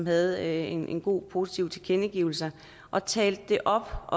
havde en god og positiv tilkendegivelse og talte det op